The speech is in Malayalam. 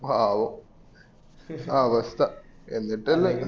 പാവോ അവസ്ഥ എന്നിട്ട് അല്ലെ